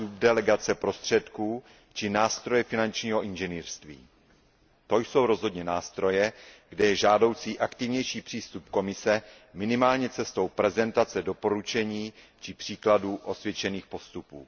subdelegace prostředků či nástroje finančního inženýrství, to jsou rozhodně nástroje, kde je žádoucí aktivnější přístup Komise minimálně cestou prezentace doporučení či příkladů osvědčených postupů.